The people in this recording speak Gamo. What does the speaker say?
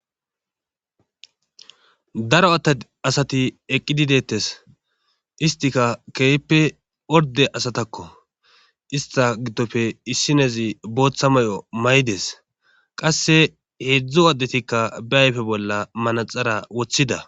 daro a asati eqqidi deettes istika keeyppe orde asatakko ista giddope issinezi booththa may7o may7des qasse heedzdzu addetikka be ayfe bolla manaxara woththida.